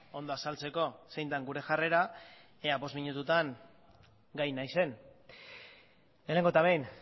ondo azaltzeko zein den gure jarrera ea bost minututan gai naizen lehenengo eta behin